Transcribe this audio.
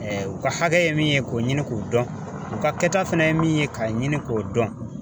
u ka hakɛ ye min ye k'o ɲini k'u dɔn, u ka kɛta fɛnɛ ye min ye k'a ɲini k'o dɔn.